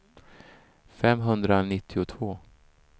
femhundranittiotvå